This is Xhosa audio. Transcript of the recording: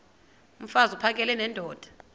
mfaz uphakele nendoda